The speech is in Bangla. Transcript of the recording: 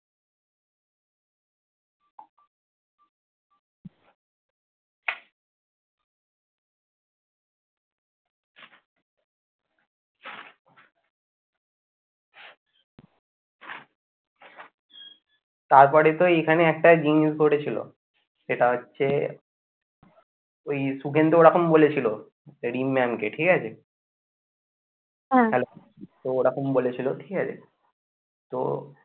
তারপরে তো এখানে একটা জিনিস ঘটেছিলো সেটা হচ্ছে ওই সুখেন্দু ওরকম বলেছিলো রিম mam কে ঠিক আছে তো ওরকম বলেছিলো ঠিক আছে তো